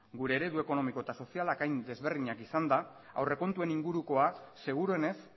gure eredu ekonomiko eta sozialak hain ezberdinak izanda aurrekontuen ingurukoa seguruenez